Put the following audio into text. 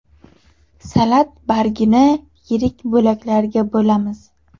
Salat bargini yirik bo‘laklarga bo‘lamiz.